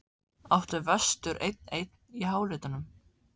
Átti vestur einn-einn í hálitunum?